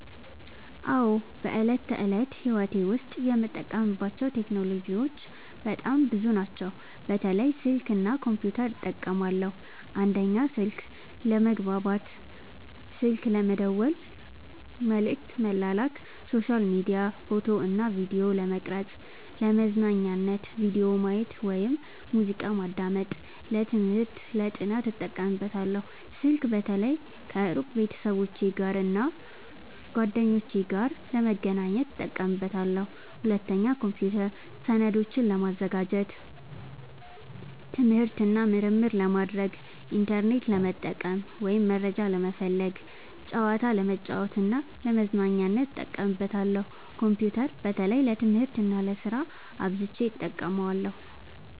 አዎ፣ በዕለት ተዕለት ሕይወቴ ዉስጥ የምጠቀምባቸው ቴክኖሎጂዎች በጣም ብዙ ናቸው፣ በተለይ ስልክ እና ኮምፒውተር እጠቀማለሁ። 1. ስልክ፦ ለመግባባት (ስልክ መደወል፣ መልዕክት መላክ)፣ሶሻል ሚዲያ፣ ፎቶ እና ቪዲዮ ለመቅረጵ፣ ፣ለመዝናኛነት(ቪዲዮ ማየት፣ ሙዚቃ ማዳመጥ)፣ ለትምህርት(ለማጥናት) እጠቀምበታለሁ። ስልክ በተለይ ከሩቅ ቤተሰቦቼና እና ጓደኞቼ ጋር ለመገናኘት እጠቀምበታለሁ። 2. ኮምፒውተር፦ ሰነዶችን ለማዘጋጀት፣ ትምህርት እና ምርምር ለማድረግ፣ ኢንተርኔት ለመጠቀም (መረጃ ለመፈለግ)፣ ጨዋታ ለመጫወት እና ለመዝናኛነት እጠቀምበታለሁ። ኮምፒውተር በተለይ ለትምህርት እና ለስራ አብዝቸ እጠቀማለሁ።